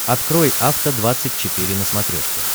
открой афта двадцать четыре на смотрешке